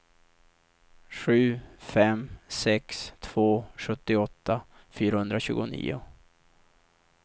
sju fem sex två sjuttioåtta fyrahundratjugonio